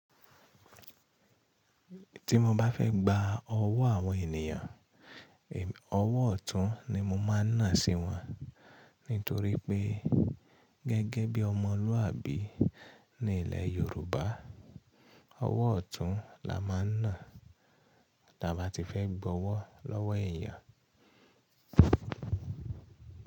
Tí mo bá fẹ́ gba ọwọ́ àwọn ènìyàn, ọwọ́ ọ̀tún ni mo máa ń nà sí wọn nítorí pé gẹ́gẹ́ bí ọmọlúàbí ní ilẹ̀ Yorùbá, ọwọ́ ọ̀tún la máa ń nà tí a bá ti fẹ́ gba ọwọ́ lọ́wọ́ ènìyàn.